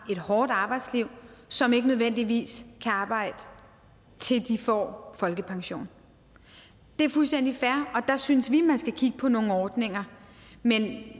et hårdt arbejdsliv som ikke nødvendigvis kan arbejde til de får folkepension det er fuldstændig fair og der synes vi man skal kigge på nogle ordninger men at